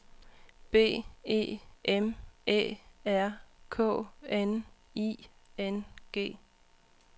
B E M Æ R K N I N G